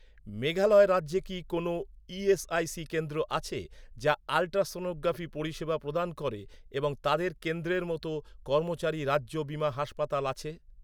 মেঘালয় রাজ্যে কি কোনও ই.এস.আই.সি কেন্দ্র আছে, যা আল্ট্রাসনোগ্রাফি পরিষেবা প্রদান করে এবং তাদের কেন্দ্রের মতো, কর্মচারী রাজ্য বীমা হাসপাতাল আছে?